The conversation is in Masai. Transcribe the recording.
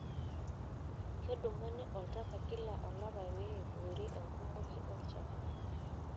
Kedumuni oltaka kila olapa pee eiboori enkumoki olchafu.